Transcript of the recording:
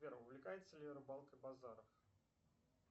сбер увлекается ли рыбалкой базаров